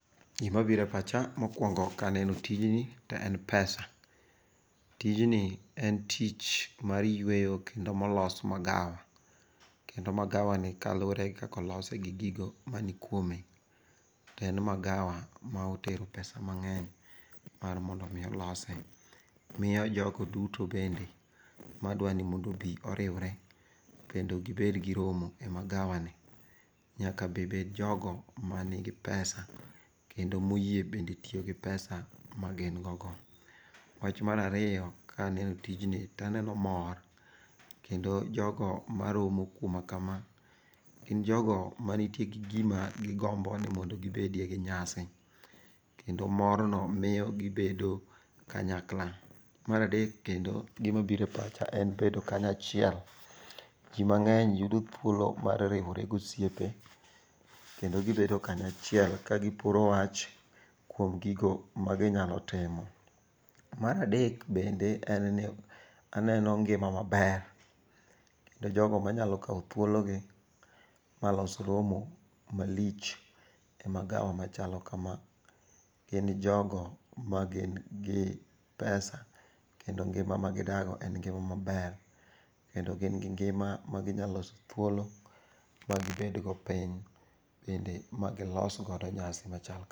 Gima biro e pacha mokwongo ka aneno tijni te en pesa. Tijni en tich mar yueyo kendo molos magawa. Kendo magawani kaluwore gi kaka olose gi gigo manikwome, en magawa ma otero pesa mang'eny mar mondo omi olose. Miyo jogo duto ma be madwa ni mondo obi oriwre kendo gibed gi romo e magawani nyaka be bed jogo manigi pesa kendo moyie bende tiyo gi pesa magingo go. Wach mar ariyo kaneno tijni taneno mor, kendo jogo maromo kuma kama gin jogo manitie gi gima gigombo ni mondo gibede gi nyasi. Kendo morno miyo gibedo kanyakla. Mar adek kendo gimabiro e pacha en bedo kanyachiel. Ji mang'eny yudo thuolo mar riwore gosiepe kendo gibedo kanyachiel ka giporo wach kuom gigo maginyalo timo. Mar adek bende en ni aneno ngima maber kendo jogo manyalo kawo thuologi malos romo malich e magawa machalo kama gin jogo magin gi pesa kendo ngima magidago en ngima maber kendo gin gi ngima maginya loso thuolo magibedgo piny bende ma gilosgo nyasi machal kama.